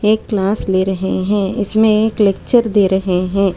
एक क्लास ले रहे हैं इसमें एक लेक्चर दे रहे हैं।